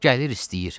Gəlir istəyir.